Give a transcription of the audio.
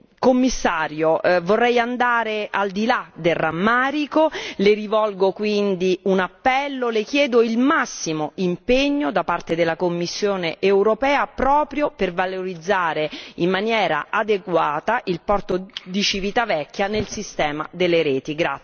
Signor Commissario, vorrei andare al di là del rammarico. Le rivolgo quindi un appello, chiedendo il massimo impegno da parte della Commissione europea proprio per valorizzare in maniera adeguata il porto di Civitavecchia nel sistema delle reti.